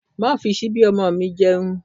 Má fi síbí ọmọ mi jẹun!